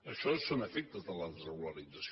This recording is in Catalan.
això són efectes de la desregularització